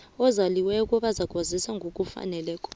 ezaliweko bazakwaziswa ngokufaneleko